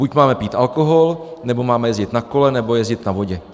Buď máme pít alkohol, nebo máme jezdit na kole, nebo jezdit na vodě.